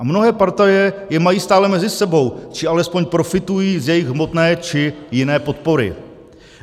A mnohé partaje je mají stále mezi sebou, či alespoň profitují z jejich hmotné či jiné podpory.